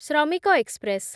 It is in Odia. ଶ୍ରମିକ ଏକ୍ସପ୍ରେସ୍